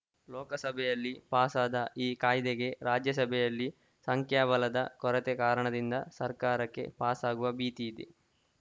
ಲೋಕಸಭೆಯಲ್ಲಿ ಪಾಸಾದ ಈ ಕಾಯ್ದೆಗೆ ರಾಜ್ಯಸಭೆಯಲ್ಲಿ ಸಂಖ್ಯಾಬಲದ ಕೊರತೆ ಕಾರಣದಿಂದ ಸರ್ಕಾರಕ್ಕೆ ಪಾಸಾಗುವ ಭೀತಿ ಇದೆ